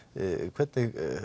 hvernig